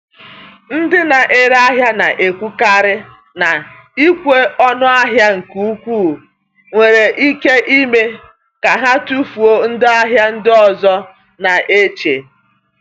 Ndị na-ere ahịa na-ekwukarị na ịkwụ ọnụ ahịa nke ukwuu nwere ike ime ka ha tufuo ndị ahịa ndị ọzọ na-eche.